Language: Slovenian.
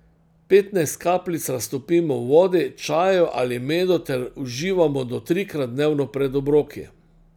Petnajst kapljic raztopimo v vodi, čaju ali medu ter uživamo do trikrat dnevno pred obroki.